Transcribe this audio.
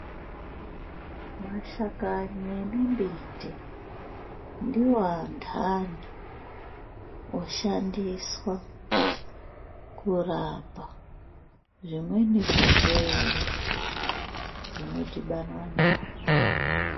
Mashakani emimbiti ndiwo andani oshandiswa kurapa zvimweni zvirwere zvinodhibanwa nazvo.